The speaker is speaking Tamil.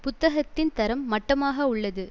புத்தகத்தின் தரம் மட்டமாக உள்ளது